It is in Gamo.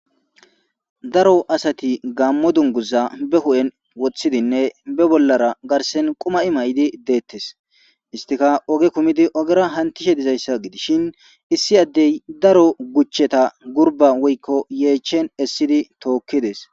daro asati gammo dunguza be hu7en wothidinne be bollara garsen quma7i may7idi deettes istika oge kumidi ogera hantishe dizayssa gidishin issi addey daro guchcheta gurba woykko yeechen essidi tookkides